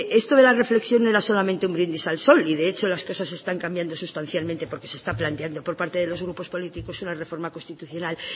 esto de la reflexión no era solamente un brindis al sol y de hechos las cosas están cambiando sustancialmente porque se está planteando por parte de los grupos políticos una reforma constitucional